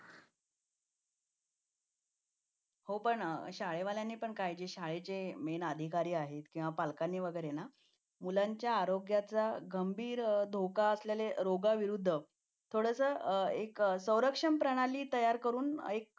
हो पण शाळा वाल्यांनी काळजी म्हणजे शाळेचे मेन अधिकार आहे त्यांना पालकांनी वगैरे मुलांच्या आरोग्याच्या गंभीर धोका असलेल्या रोगाविरुद्ध थोडेसे एक संरक्षण प्रणाली तयार करून एक